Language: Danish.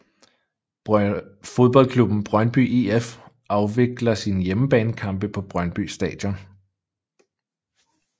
Fodboldklubben Brøndby IF afvikler sine hjemmebanekampe på Brøndby Stadion